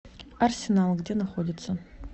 арсенал где находится